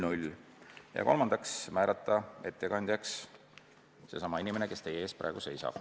Ettekandjaks määrati seesama inimene, kes teie ees praegu seisab.